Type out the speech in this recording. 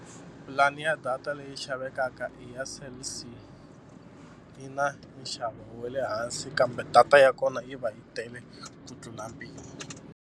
Pulani ya data leyi xavekaka i ya Cell C yi na nxavo wa le hansi kambe data ya kona yi va yi tele ku tlula mpimo.